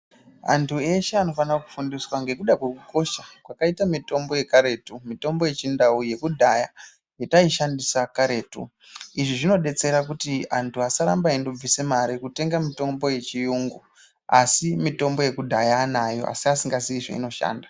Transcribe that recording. Antu eshe anofana kufundiswa nenyaya yekukosha kwakaita mitombo yekarutu mitombo yechindau yekudhaya yataishandisa karetu izvi zvinozodetsera kuti antu asaramba eibvisa mare kutenga mitombo yechirungu asi mitombo yekudhaya anayo asi asingazii zvainoshanda.